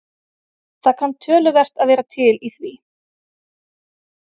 Það kann töluvert að vera til í því.